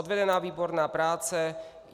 Odvedena výborná práce.